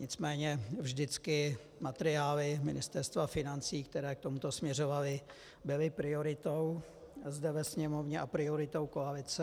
Nicméně vždycky materiály Ministerstva financí, které k tomuto směřovaly, byly prioritou zde ve Sněmovně a prioritou koalice.